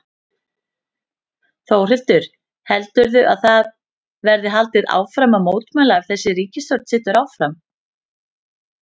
Þórhildur: Heldurðu að það verði haldið áfram að mótmæla ef að þessi ríkisstjórn situr áfram?